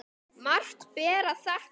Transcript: Margt ber að þakka.